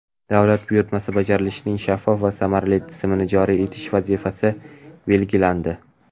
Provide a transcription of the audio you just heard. davlat buyurtmasi bajarilishining shaffof va samarali tizimini joriy etish vazifasi belgilandi.